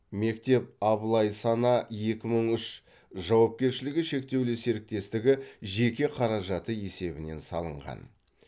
мектеп абылай сана екі мың үш жауапкершілігі шектеулі серіктестігі жеке қаражаты есебінен салынған